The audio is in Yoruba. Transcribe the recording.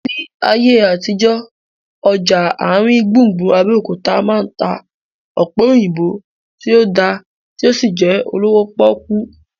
Ní ayé àtijọ́, ọjà àrin gbùngbùn Abẹ́òkúta máa ń ta ọ̀pẹ̀ òyìnbó tó dá tí ó sì jẹ́ olówó pọ́kú